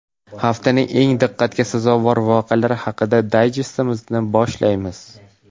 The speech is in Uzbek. Haftaning eng diqqatga sazovor voqealari haqidagi dayjestimizni boshlaymiz.